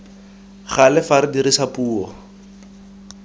gale fa re dirisa puo